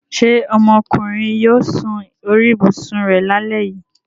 Ṣé ọmọkùnrin yóò sun orí ibùsùn rẹ lálẹ́ yìí?